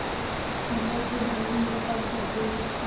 मंडल के भवन में पग धरते ही उसकी